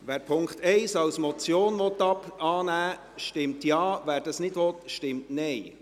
Wer den Punkt 1 als Motion annehmen will, stimmt Ja, wer dies nicht will, stimmt Nein.